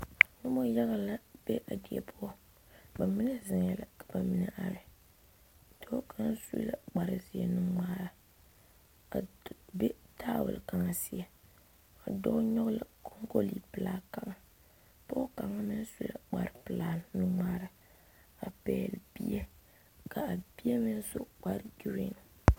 Noba yaga a be die poɔ bamine are la ka bamine zeŋ dɔɔ kaŋ su la kpare ziɛ nuŋmare tiekaŋ seɛ a dɔɔ nyoŋ la konkole pelaa kaŋa mine su la kpare pelaa nuŋmare a pegle bie kaa bie meŋ su kpare geri.